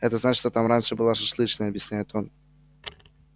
это значит что там раньше была шашлычная объясняет он